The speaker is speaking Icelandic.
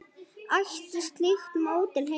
Ætti slíkt módel heima hér?